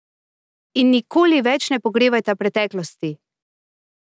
In nikoli več ne pogrevajta preteklosti!